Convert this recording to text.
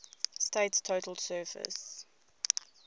state's total surface